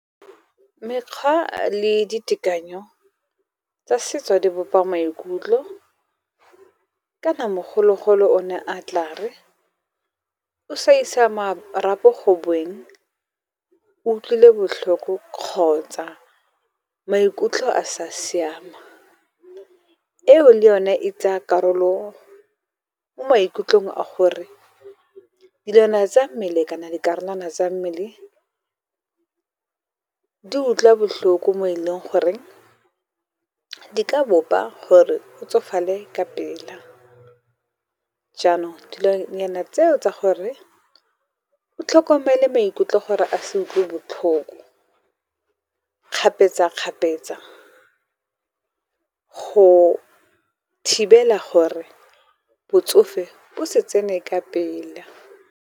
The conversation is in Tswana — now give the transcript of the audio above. Mekgwa le ditekanyo tsa setso di bopa maikutlo kana mogolo-golo o ne a tle a re o sa isa marapo gobeng, o utlwile botlhoko kgotsa maikutlo a sa siama. Eo le yone e tsa karolo mo maikutlong a gore dilwana tsa mmele kana dikarolwana tsa mmele, di utlwa botlhoko mo e leng gore di ka bopa gore o tsofale ka pela. Jaanong dilonyana tseo tsa gore o tlhokomele maikutlo gore a se utlwe botlhoko kgapetsa-kgapetsa, go thibela gore botsofe bo se tsene ka pele.